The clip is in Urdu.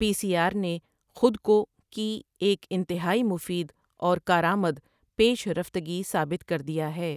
پی سی آر نے خود کو کی ایک انتہائی مفید اور کارآمد پیش رفتگی ثابت کر دیا ہے۔